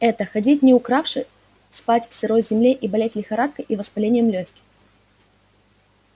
это ходить не укравши спать на сырой земле и болеть лихорадкой и воспалением лёгких